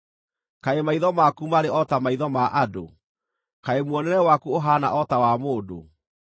Kaĩ maitho maku marĩ o ta maitho ma andũ? Kaĩ muonere waku ũhaana o ta wa mũndũ?